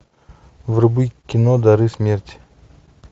вруби кино дары смерти